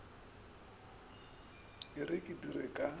e re ke dire ka